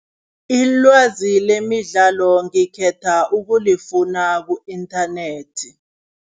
Ilwazi lemidlalo ngikhetha ukulifuna ku-internet.